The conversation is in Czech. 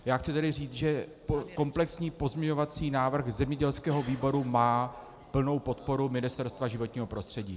Já chci tedy říct, že komplexní pozměňovací návrh zemědělského výboru má plnou podporu Ministerstva životního prostředí.